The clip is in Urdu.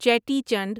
چیٹی چنڈ